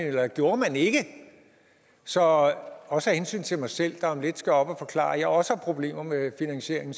eller gjorde man ikke så også af hensyn til mig selv der om lidt skal op og forklare at jeg også har problemer med finansieringen